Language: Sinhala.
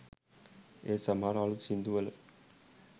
ඒත් සමහර අළුත් සින්දු වල